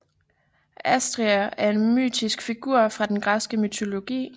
Asteria er en mytisk figur fra den græske mytologi